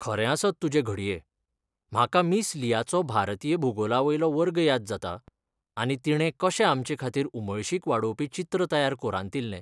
खरें आसत तुजें घडये! म्हाका मिस लियाचो भारतीय भूगोलावयलो वर्ग याद जाता, आनी तिणें कशें आमचेखातीर उमळशीक वाडोवपी चित्र तयार कोंरातिल्लें.